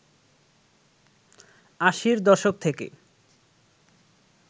আশির দশক থেকে